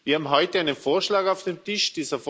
Wir haben heute einen Vorschlag auf dem Tisch.